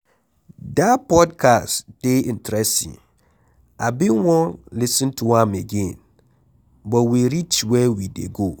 Dat podcast dey interesting, I bin wan lis ten to am again but we reach where we dey go.